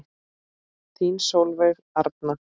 Þín Sólveig Arna.